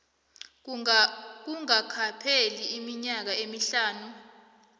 kungakapheli iminyaka emihlanu